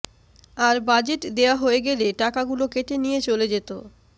আর budget দেওয়া হয়ে গেলে টাকাগুলো কেটে নিয়ে চলে যেত